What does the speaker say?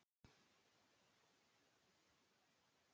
Af hverju ertu svona þrjóskur, Hrönn?